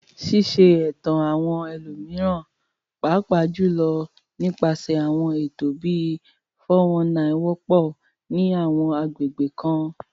Ṣíṣe ẹ̀tàn àwọn ẹlòmíràn, pàápàá jùlọ nípasẹ̀ àwọn ètò bíi "419," wọ́pọ̀ ní àwọn agbègbè kan.